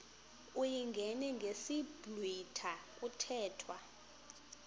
uyingene ngesiblwitha kuthethwa